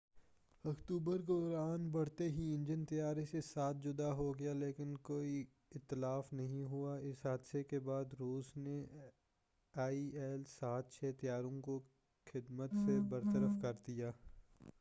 7 October کو اڑان بھرتے ہی انجن طیارہ سے جدا ہو گیا لیکن کوئی اتلاف نہیں ہوا اس حادثہ کے بعد روس نے آئی ایل-76 طیاروں کو خدمت سے برطرف کردیا